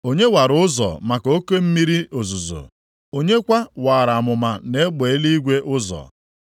Onye wara ụzọ maka oke mmiri ozuzo, onye kwa waara amụma na egbe eluigwe ụzọ?